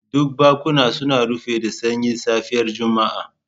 Duk bankuna suna rufe da sanyin safiyar Juma'a.